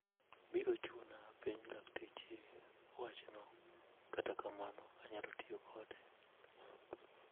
Biro chuna apenj lakteche wachno, kata kamano anyalo tiyo kode.